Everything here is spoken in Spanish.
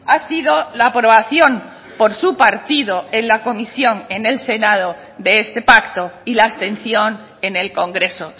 ha sido la aprobación por su partido en la comisión en el senado de este pacto y la abstención en el congreso